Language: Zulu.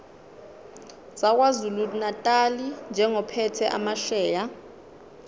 sakwazulunatali njengophethe amasheya